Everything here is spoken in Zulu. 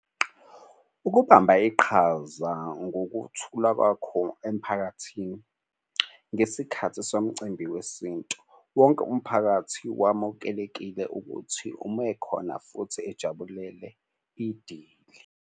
Ukubamba iqhaza ngokuthula kwakho emphakathini ngesikhathi somcimbi wesintu. Wonke umphakathi wamukelekile ukuthi uma ekhona futhi ejabulele idili.